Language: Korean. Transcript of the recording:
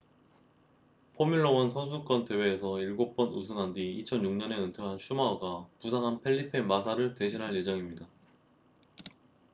포뮬러 1 선수권 대회에서 일곱 번 우승한 뒤 2006년에 은퇴한 슈마허가 부상한 펠리페 마사를 대신할 예정입니다